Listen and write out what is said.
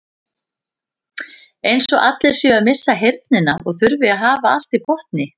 Eins og allir séu að missa heyrnina og þurfi að hafa allt í botni.